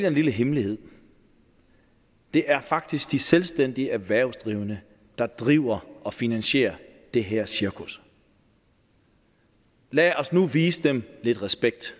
en lille hemmelighed det er faktisk de selvstændige erhvervsdrivende der driver og finansierer det her cirkus lad os nu vise dem lidt respekt